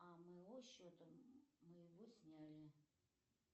а моего счета моего сняли